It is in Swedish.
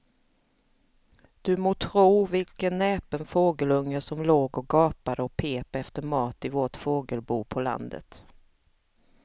Du må tro vilken näpen fågelunge som låg och gapade och pep efter mat i vårt fågelbo på landet.